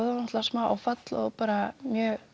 smá áfall og